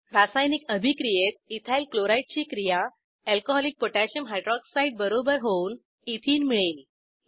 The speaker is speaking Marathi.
रासायनिक अभिक्रियेत इथाइल क्लोराइड ची क्रिया अल्कोहॉलिक पोटॅशियम हायरॉक्साइड बरोबर होऊन एथेने मिळेल